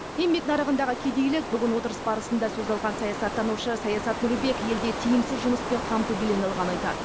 еңбек нарығындағы кедейлік бүгін отырыс барысында сөз алған саясаттанушы саясат нұрбек елде тиімсіз жұмыспен қамту белең ылған айтады